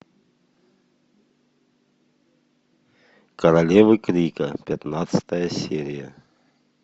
королевы крика пятнадцатая серия